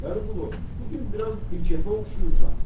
Vəliqulu, bu gün biraz binkeyfə oxşayırsan.